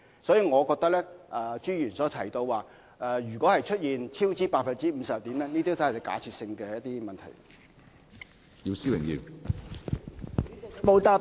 因此，我覺得朱議員問及出現超支 50% 會怎樣，都是假設性的問題。